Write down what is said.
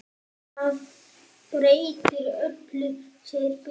Það breytir öllu, segir Birkir.